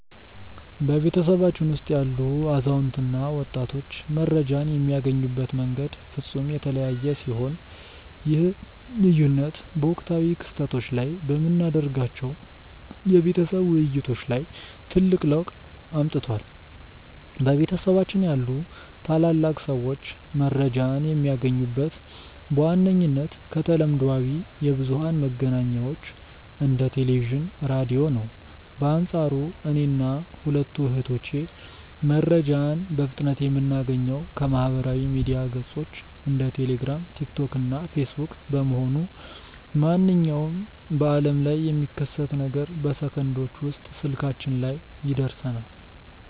በቤተሰባችን ውስጥ ያሉ አዛውንት እና ወጣቶች መረጃን የሚያገኙበት መንገድ ፍጹም የተለያየ ሲሆን፣ ይህ ልዩነት በወቅታዊ ክስተቶች ላይ በምናደርጋቸው የቤተሰብ ውይይቶች ላይ ትልቅ ለውጥ አምጥቷል። በቤታችን ያሉ ታላላቅ ሰዎች መረጃን የሚያገኙት በዋነኝነት ከተለምዷዊ የብዙኃን መገናኛዎች እንደ ቴሌቪዥን፣ ራዲዮ ነው። በአንፃሩ እኔና ሁለቱ እህቶቼ መረጃን በፍጥነት የምናገኘው ከማኅበራዊ ሚዲያ ገጾች (እንደ ቴሌግራም፣ ቲክቶክ እና ፌስቡክ) በመሆኑ፣ ማንኛውም በዓለም ላይ የሚከሰት ነገር በሰከንዶች ውስጥ ስልካችን ላይ ይደርሰናል።